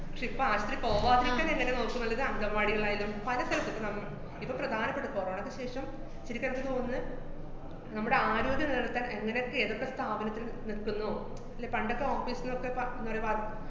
~ക്ഷെ ഇപ്പ ആശൂത്രീ പോവാതിരിക്കാനെങ്ങനെ നോക്കുമെന്നത് അംഗന്‍വാടികളായാലും, പല സ്ഥലത്ത് ഇപ്പ നമ്മ~ ഇപ്പ പ്രധാനപ്പെട്ട corona യ്ക്ക് ശേഷം ശെരിക്ക് അനക്ക് തോന്നുന്നത്, നമ്മടെ ആരോഗ്യം നിലനിര്‍ത്താന്‍ എങ്ങനൊക്കെ ഏതൊക്കെ സ്ഥാപനത്തിന് നിര്‍ത്തുന്നോ ല്ലേ പണ്ടൊക്കെ office ന്നൊക്കെ പ~ ന്നൊരു വാ~